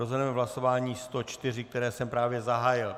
Rozhodneme v hlasování 104, které jsem právě zahájil.